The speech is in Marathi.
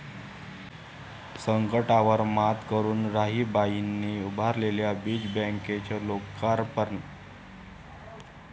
संकटांवर मात करून राहीबाईंनी उभारलेल्या बीज बँकेचं लोकार्पण